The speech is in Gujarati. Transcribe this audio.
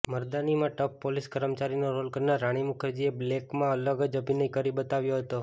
મર્દાનીમાં ટફ પોલીસ કર્મચારીનો રોલ કરનાર રાણી મુખર્જીએ બ્લૅકમાં અલગ જ અભિનય કરી બતાવ્યો હતો